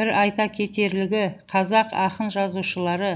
бір айта кетерлігі қазақ ақын жазушылары